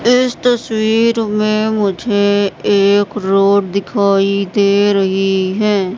इस तस्वीर में मुझे एक रोड दिखाई दे रही है।